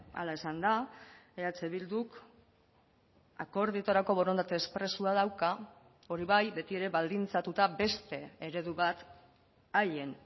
hala esan da eh bilduk akordioetarako borondate espresoa dauka hori bai betiere baldintzatuta beste eredu bat haien